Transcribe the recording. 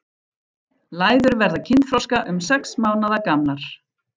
Læður verða kynþroska um sex mánaða gamlar.